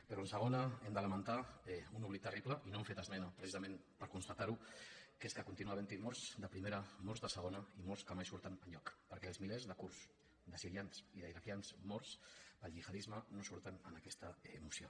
però en la segona hem de lamentar un oblit terrible i no hem fet esmena precisament per constatar ho que és que continua havent hi morts de primera morts de segona i morts que mai surten enlloc perquè els milers de kurds de sirians i d’iraquians morts pel gihadisme no surten en aquesta moció